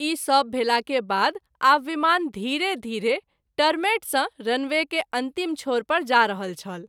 ई सभ भेला के बाद आब विमान धीरे-धीरे टरमैट सँ रनवे के अंतिम छोर पर जा रहल छल।